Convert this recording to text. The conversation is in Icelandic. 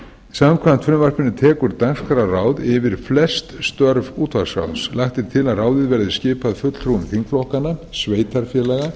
samkvæmt frumvarpinu tekur dagskrárráð yfir flest störf útvarpsráðs lagt er til að ráðið verði skipað fulltrúum þingflokkanna sveitarfélaga